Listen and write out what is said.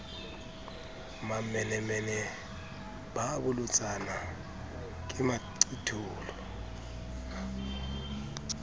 mamenemene ba bolotsana ke maqitolo